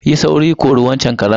Yi sauri, kori waccan karen.